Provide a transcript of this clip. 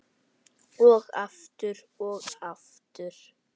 Og aftur og aftur.